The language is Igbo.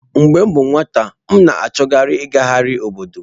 Mgbe m bụ nwata, m na-achọkarị ịgagharị obodo.